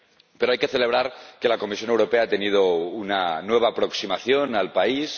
Pero hay que celebrar que la Comisión Europea ha tenido una nueva aproximación al país